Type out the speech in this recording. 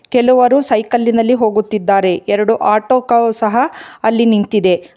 ಕೆಲವರು ಸೈಕಲ್ಲಿನಲ್ಲಿ ಹೋಗುತ್ತಿದ್ದಾರೆ ಎರಡು ಆಟೋಕಾವ್ ಸಹಾ ಅಲ್ಲಿ ನಿಂತಿದೆ.